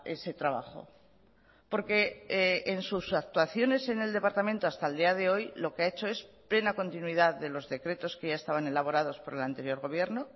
ese trabajo porque en sus actuaciones en el departamento hasta el día de hoy lo que ha hecho es plena continuidad de los decretos que ya estaban elaborados por el anterior gobierno